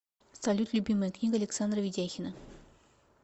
салют любимая книга александра ведяхина